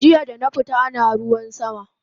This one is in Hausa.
Jiya dana fita ana ruwan sama